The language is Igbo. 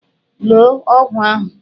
Loo ọgwụ ahụ!